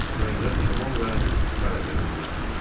Qayıdaq Kamal və Qaragözün yanına.